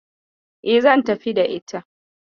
E, zan tafi da ita.